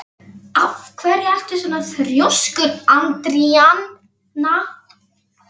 Af hverju ertu svona þrjóskur, Andríana?